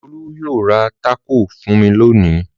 Olú yóò ra tákò fún mi lónìí.